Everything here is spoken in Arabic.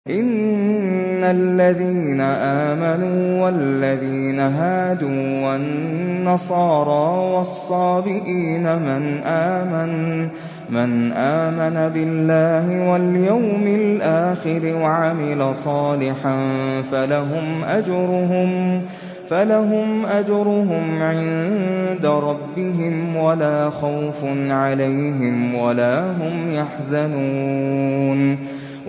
إِنَّ الَّذِينَ آمَنُوا وَالَّذِينَ هَادُوا وَالنَّصَارَىٰ وَالصَّابِئِينَ مَنْ آمَنَ بِاللَّهِ وَالْيَوْمِ الْآخِرِ وَعَمِلَ صَالِحًا فَلَهُمْ أَجْرُهُمْ عِندَ رَبِّهِمْ وَلَا خَوْفٌ عَلَيْهِمْ وَلَا هُمْ يَحْزَنُونَ